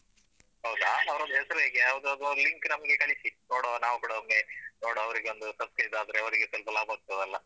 ಹೌದಾ ಅವ್ರದ್ದು ಹೆಸರು ಹೇಗೆ ಯಾವುದಾದರೊಂದು link ನಮ್ಗೆ ಕಳಿಸಿ ನೋಡುವ ನಾವು ಕೂಡ ಒಮ್ಮೆ ನೋಡುವ ಅವರಿಗೊಂದು subscribe ಆದ್ರೆ ಅವರಿಗೆ ಸ್ವಲ್ಪ ಲಾಭಾಗ್ತದಲ್ಲ.